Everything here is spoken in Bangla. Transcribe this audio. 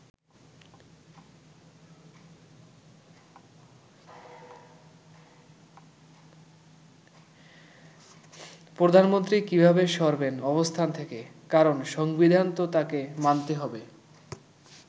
প্রধানমন্ত্রী কিভাবে সরবেন অবস্থান থেকে কারণ সংবিধান তো তাকে মানতে হবে”।